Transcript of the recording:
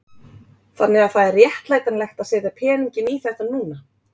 Þannig að það er réttlætanlegt að setja peninginn í þetta núna?